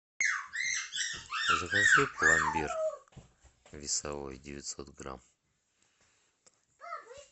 закажи пломбир весовой девятьсот грамм